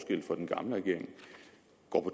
og